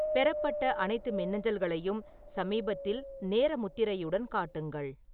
பெறப்பட்ட அனைத்து மின்னஞ்சல்களையும் சமீபத்தில் நேர முத்திரையுடன் காட்டுங்கள்